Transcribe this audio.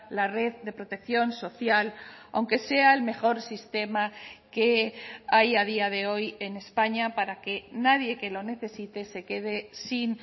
la red de protección social aunque sea el mejor sistema que hay a día de hoy en españa para que nadie que lo necesite se quede sin